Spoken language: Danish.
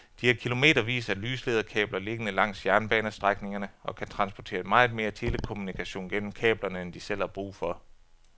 De har kilometervis af lyslederkabler liggende langs jernbanestrækningerne og kan transportere meget mere telekommunikation gennem kablerne end de selv har brug for.